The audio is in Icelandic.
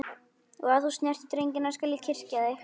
Og ef þú snertir drengina skal ég kyrkja þig.